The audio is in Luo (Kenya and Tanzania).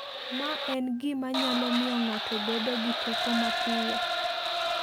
Ma en gima nyalo miyo ng'ato bedo gi teko mapiyo.